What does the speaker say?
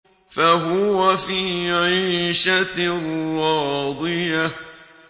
فَهُوَ فِي عِيشَةٍ رَّاضِيَةٍ